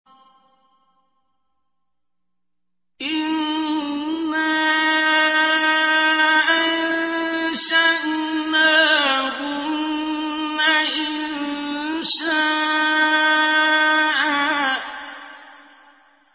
إِنَّا أَنشَأْنَاهُنَّ إِنشَاءً